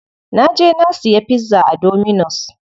Na je na siya pizza a dominus.